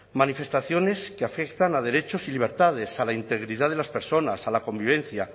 manifestaciones que afectan a derechos y libertades a la integridad de las personas a la convivencia